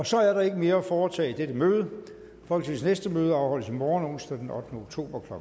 så er der ikke mere at foretage i dette møde folketingets næste møde afholdes i morgen onsdag den ottende oktober to